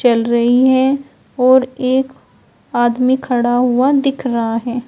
चल रही हैं और एक आदमी खड़ा हुआ दिख रहा है।